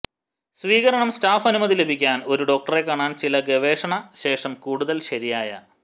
സ്വീകരണം സ്റ്റാഫ് അനുമതി ലഭിക്കാൻ ഒരു ഡോക്ടറെ കാണാൻ ചില ഗവേഷണ ശേഷം കൂടുതൽ ശരിയായ